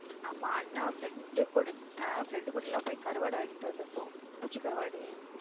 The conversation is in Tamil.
ஆமா அண்ணா friend கூட friend கூட எல்லாம் போய் கருவாடு வாங்கிட்டு வந்து இருக்கும் குச்சி கருவாடு.